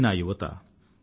ఇదే నా యువత